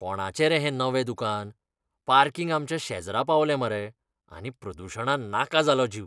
कोणाचें रे हें नवें दुकान? पार्किंग आमच्या शेजरा पावलें मरे, आनी प्रदूशणान नाका जालो जीव.